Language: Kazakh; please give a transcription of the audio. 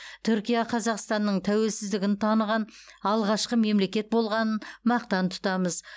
түркия қазақстанның тәуелсіздігін таныған алғашқы мемлекет болғанын мақтан тұтамыз